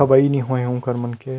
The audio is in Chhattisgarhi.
अवई नही होहे उखर मन के--